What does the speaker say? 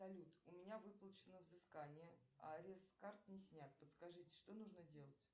салют у меня выплачено взыскание а арест с карт не снят подскажите что нужно делать